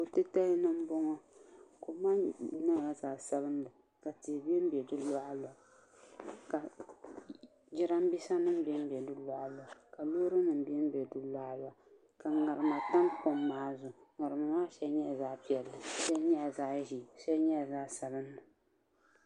Ko titali ni n boŋo kom maa nyɛla zaɣ sabinli ka tihi bɛnbɛ di luɣa luɣa ka jiranbiisa nim bɛnbɛ di luɣa luɣa ka loori nim bɛnbɛ di luɣa luɣa ka ŋarima tam kom maa zuɣu ŋarima maa shɛli nyɛla zaɣ piɛlli shɛli nyɛla zaɣ ʒiɛ shɛli nyɛla zaɣ sabinli